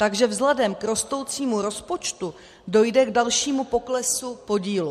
Takže vzhledem k rostoucímu rozpočtu dojde k dalšímu poklesu podílu.